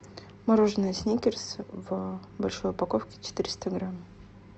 мороженое сникерс в большой упаковке четыреста грамм